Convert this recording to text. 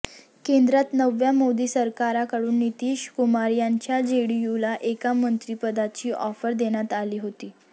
केंद्रात नव्या मोदी सरकारकडून नितीश कुमार यांच्या जेडीयूला एका मंत्रिपदाची ऑफर देण्यात आली होती